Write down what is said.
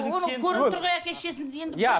оның көрініп тұр ғой әке шешесінде енді иә